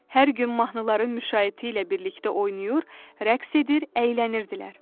Hər gün mahnıların müşayiəti ilə birlikdə oynayır, rəqs edir, əylənirdilər.